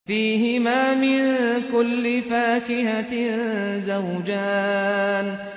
فِيهِمَا مِن كُلِّ فَاكِهَةٍ زَوْجَانِ